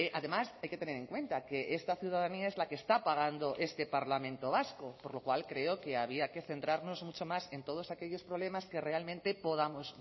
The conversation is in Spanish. además hay que tener en cuenta que esta ciudadanía es la que está pagando este parlamento vasco por lo cual creo que había que centrarnos mucho más en todos aquellos problemas que realmente podamos